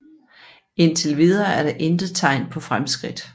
Indtilvidere er der intet tegn på fremskridt